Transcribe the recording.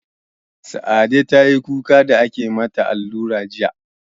Sa'ade tayi kuka da ake mata allura jiya